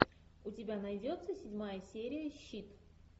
у тебя найдется седьмая серия щит